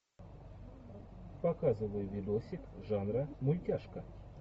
показывай видосик жанра мультяшка